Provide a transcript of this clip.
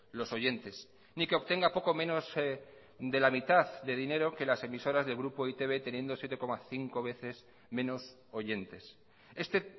los oyentes ni que obtenga poco menos de la mitad de dinero que las emisoras del grupo e i te be teniendo siete coma cinco veces menos oyentes este